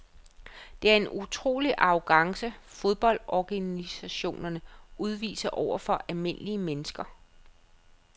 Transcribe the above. Det er en utrolig arrogance fodboldorganisationerne udviser over for almindelige mennesker.